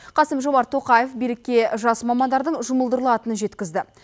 қасым жомарт тоқаев билікке жас мамандардың жұмылдырылатынын жеткізді